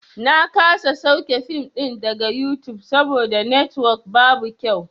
Na kasa sauke fim ɗin daga yutub saboda netwok babu kyau.